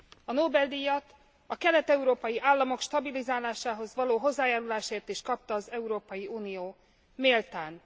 A Nobel díjat a kelet európai államok stabilizálásához való hozzájárulásért is kapta az Európai Unió. Méltán.